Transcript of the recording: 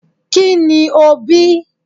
ki ní o bí